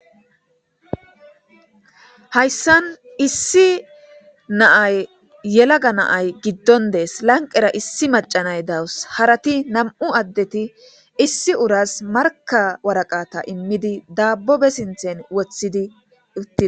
hayssan issi na'ay yelaga na'ay giddon dees lanqera issi macanay dawus harati nam7u addeti issi uras marka waraqata immidi dabbobe sinthen wothidi uttidi